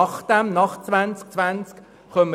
Nach 2020 beginnt das Projekt «Neustrukturierung